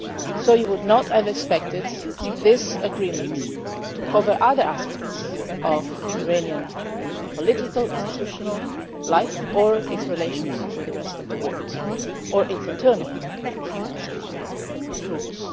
So you would not have expected this agreement to cover other aspects of Iranian political institutional life or its relations with the rest of the world or its internal roots.